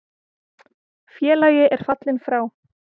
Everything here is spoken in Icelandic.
Félagi er fallinn frá.